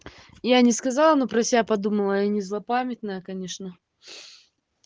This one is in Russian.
я не сказала но про себя подумала я не злопамятная конечно